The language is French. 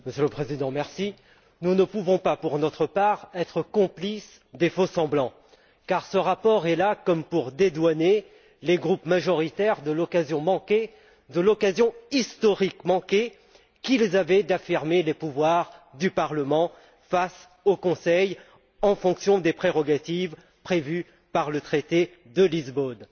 Monsieur le Président, nous ne pouvons pas, pour notre part, être complices des faux semblants car ce rapport est là comme pour dédouaner les groupes majoritaires de l'occasion historique manquée qu'ils avaient d'affirmer les pouvoirs du Parlement face au Conseil, en fonction des prérogatives prévues par le traité de Lisbonne.